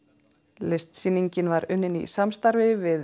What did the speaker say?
listasýningin var unnin í samstarfi við